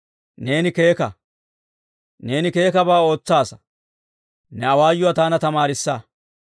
Neeni keeka; neeni keekkabaa ootsaasa; ne awaayuwaa taana tamaarissa.